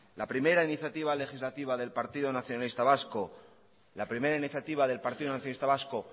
la primera iniciativa legislativa del partido nacionalista vasco